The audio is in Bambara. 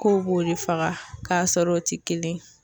Kow b'o de faga k'a sɔrɔ o ti kelen ye